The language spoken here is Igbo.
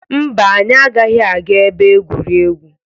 Mba, anyị agaghị aga ebe egwuregwu.